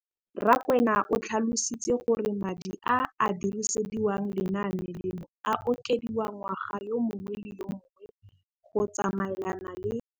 Rakwena o tlhalositse gore madi a a dirisediwang lenaane leno a okediwa ngwaga yo mongwe le yo mongwe go tsamaelana le.